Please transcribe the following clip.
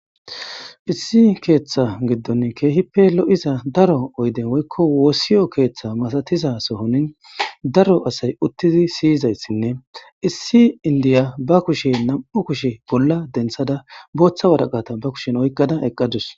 issi keeththa giddon keehippe lo7iza daro oyden woykko woossiyo keeththa masatiza sohonin daro asay uttidi siyizayssinne issi indiya ba kushe nam7u kushe bolla denthada booththa waraqata ba kushen oyqqada eqqadus.